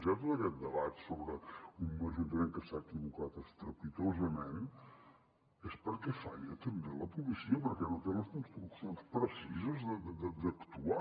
hi ha tot aquest debat sobre un ajuntament que s’ha equivocat estrepitosament és perquè falla també la policia perquè no té les instruccions precises d’actuar